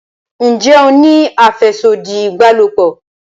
njé o ní afẹsodi ìbálòpọ̀?